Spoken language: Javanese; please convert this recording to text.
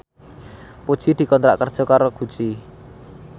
Puji dikontrak kerja karo Gucci